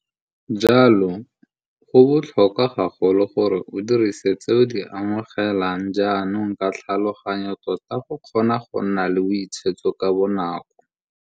Jalo, go botlhokwa gagolo gore o dirise tse o di amogelang jaanong ka tlhaloganyo tota go kgona go nna le boitshetso ka bonako.